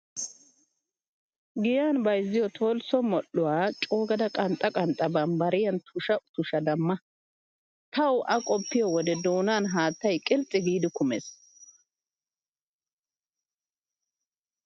Giyan bayizziyoo tolsso moodhdhuwaa coogada qanxxa qanxxa bambbariyan tusha tushada ma. Tawu A qoppiyoo wode doonan haattayi qilxxi giidi kumes.